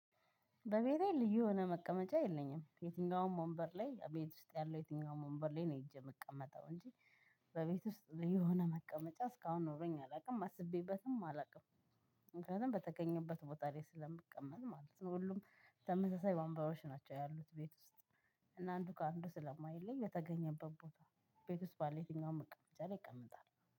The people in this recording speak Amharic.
በቤቴ ልዩ የሆነ መቀመጫ የለኝም የትኛውም ወንበር ላይ ቤት ውስጥ ያለው የትኛውም ወንበር ላይ ነው ሄጄ የምቀመጠው እንጂ። በቤት ውስጥ የሆነ መቀመጫ እስካሁን ኖሮኝ አላውቅም አስቤበትም አላውቅም። ምክንያቱም በተገኘበት ላይ ስለምቀመጥ ማለት ነው። ሁሉም ተመሳሳይ ወንበሮች ናቸው ያሉት ቤት ውስጥ። እና አንዱ ከአንዱ ስለማይለይ የተገኘበት ቦታ። ቤት ውስጥ ባለው የትኛውም መቀመጫ ላይ ይቀመጣል